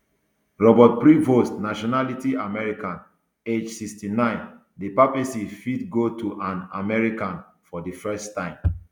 robert prevost nationality american age sixty-nine di papacy fit go to an american for di first time